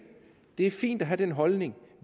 det er fint at have den holdning